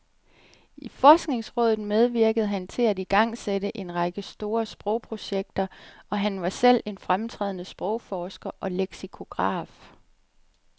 I forskningsrådet medvirkede han til at igangsætte en række store sprogprojekter, og han var selv en fremtrædende sprogforsker og leksikograf.